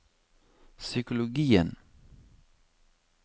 psykologien